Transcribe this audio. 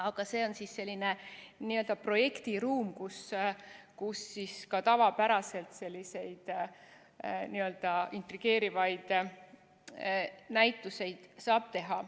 Aga see on selline n‑ö projektiruum, kus ka tavapäraselt selliseid intrigeerivaid näituseid saab teha.